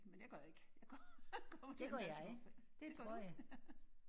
Men jeg gør ikke jeg kommer tandpasta på først det gør du?